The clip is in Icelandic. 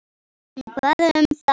En hvað um það?